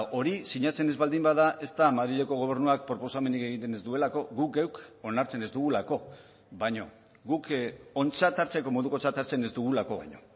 hori sinatzen ez baldin bada ez da madrileko gobernuak proposamenik egiten ez duelako guk geuk onartzen ez dugulako baino guk ontzat hartzeko modukotzat hartzen ez dugulako baino